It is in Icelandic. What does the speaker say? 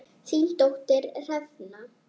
Þín dóttir Hrefna.